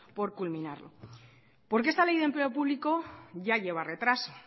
por culminarlo porque esta ley de empleo público ya lleva retraso